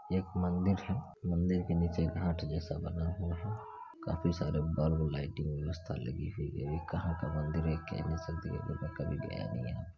एक मंदिर है मंदिर के नीचे घाट जैसा बना हुआ है काफी सारे बल्ब लाइटिंग व्यवस्था लगी हुई है ये कहा का मंदिर है ये कह नहीं सकते क्युकी मै कभी गया नहीं यहाँ।